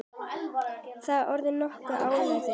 Það er orðið nokkuð áliðið.